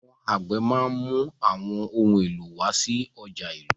Àwọn àgbẹ̀ máa ń mú àwọn ohun èlò wá sí ọjà ìlú.